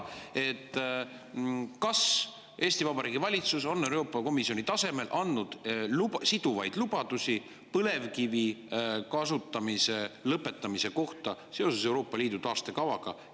Kas Eesti Vabariigi valitsus on Euroopa Komisjoni tasemel andnud siduvaid lubadusi põlevkivi kasutamise lõpetamise kohta seoses Euroopa Liidu taastekavaga.